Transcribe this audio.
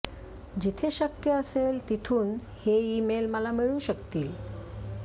जिथे शक्य असेल तिथून हे ईमेल मला मिळू शकतील